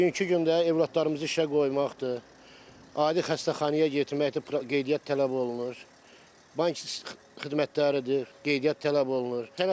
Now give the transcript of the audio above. Bugünkü gündə övladlarımızı işə qoymaqdır, adi xəstəxanaya yetirməkdir, qeydiyyat tələb olunur, bank xidmətləridir, qeydiyyat tələb olunur.